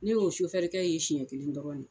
Ne y'o kɛ ye siɲɛ kelen dɔrɔn de.